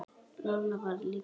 Lolla var líka hrifin.